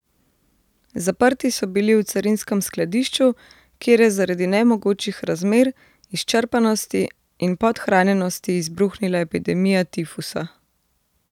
Zaprti so bili v carinskem skladišču, kjer je zaradi nemogočih razmer, izčrpanosti in podhranjenosti izbruhnila epidemija tifusa.